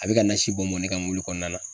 A be ka nasi bɔn bɔn ne kan mobili kɔnɔna na.